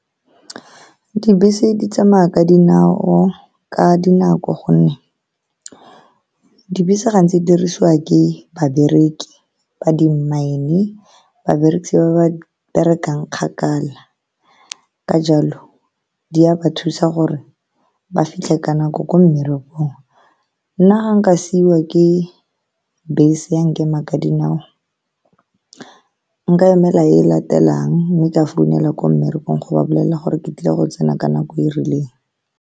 Dibese di tsamaya ka dinao ka dinako, ka gonne dibese gantsi di dirisiwa ke babereki ba di mine, babereki ba ba berekang kgakala. Ka jalo, di a ba thusa gore ba fitlhe ka nako ko mmerekong. Nna ga nka siiwa ke bese, ya nkema ka dinao, nka emela e latelang mme ka founela ko mmerekong go ba bolelela gore ke tlile go tsena ka nako e e rileng.